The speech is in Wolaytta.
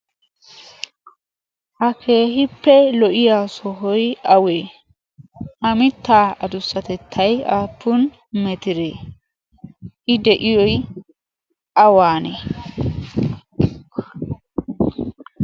ha keehippe lo7iya sohoi awee? ha mittaa adussatettai aappun metiree? i de7iyoi awaanee?